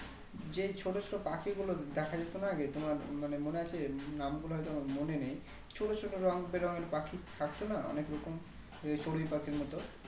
যে ছোটো ছোটো পাখি গুলো দেখা যেতোনা আগে তোমার মানে মনে আছে নাম গুলো হয় তো আমার মনে নেই ছোটো ছোটো রঙবে রঙের পাখি থাকতো না অনেক রকম চড়ুই পাখির মতো